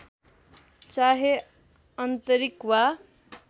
चाहे आन्तरिक वा